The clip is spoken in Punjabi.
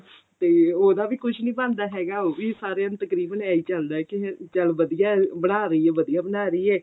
ਤੇ ਉਹਦਾ ਵੀ ਕੁੱਝ ਨੀ ਬਣਦਾ ਹੈਗਾ ਉਹ ਵੀ ਸਾਰਿਆਂ ਨੂੰ ਤਕਰੀਬਨ ਇੰਨੀ ਚੱਲਦਾ ਕੀ ਚੱਲ ਵਧੀਆ ਬਣਾ ਰਹੀ ਏ ਵਧੀਆ ਬਣਾ ਰਹੀ ਏ